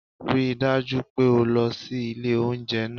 Rí i dájú pé o lọ sí ilé oúnjẹ náà